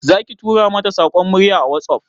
Zaki tura mata saƙon murya a WhatsApp?